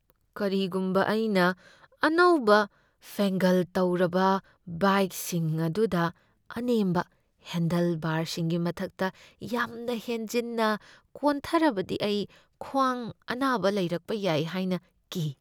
ꯀꯔꯤꯒꯨꯝꯕ ꯑꯩꯅ ꯑꯅꯧꯕ ꯐꯦꯡꯒꯜ ꯇꯧꯔꯕ ꯕꯥꯏꯛꯁꯤꯡ ꯑꯗꯨꯗ ꯑꯅꯦꯝꯕ ꯍꯦꯟꯗꯦꯜꯕꯥꯔꯁꯤꯡꯒꯤ ꯃꯊꯛꯇ ꯌꯥꯝꯅ ꯍꯦꯟꯖꯤꯟꯅ ꯀꯣꯟꯊꯔꯕꯗꯤ ꯑꯩ ꯈ꯭ꯋꯥꯡꯗ ꯑꯅꯥꯕ ꯂꯩꯔꯛꯄ ꯌꯥꯏ ꯍꯥꯏꯅ ꯀꯤ꯫